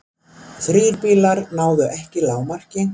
Þrír bílar náðu ekki lágmarki